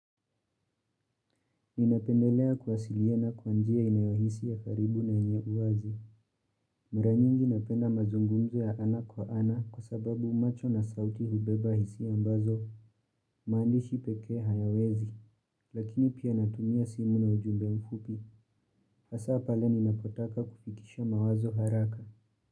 Ninapendelea kuwasiliana kwa njia inayohisi ya karibu na yenye uwazi. Mara nyingi napenda mazungumzo ya ana kwa ana kwa sababu macho na sauti hubeba hisia ambazo maandishi pekee hayawezi. Lakini pia natumia simu na ujumbe mfupi. Hasa pale ninapotaka kufikisha mawazo haraka.